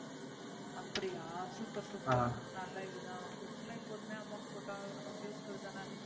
அப்படியா Super super ஹம் நல்ல இதுதான் Food ல எப்போதுமே Amount போட்டா நமக்கு Useful தான?